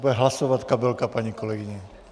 Bude hlasovat kabelka paní kolegyně.